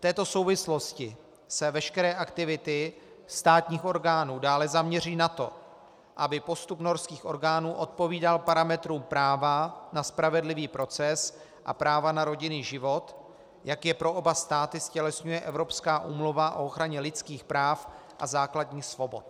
V této souvislosti se veškeré aktivity státních orgánů dále zaměří na to, aby postup norských orgánů odpovídal parametrům práva na spravedlivý proces a práva na rodinný život, jak je pro oba státy ztělesňuje Evropská úmluva o ochraně lidských práv a základních svobod.